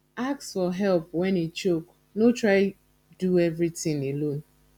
ask for help when e choke no try do everything alone